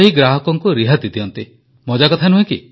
ପ୍ରଧାନମନ୍ତ୍ରୀ ପନ୍ ମରିୟପାନାଜୀ ୱଣକ୍କମ୍ ନଲ୍ଲା ଇର କିଙ୍ଗଡା